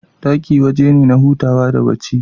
Ɗaki waje ne na hutawa da bacci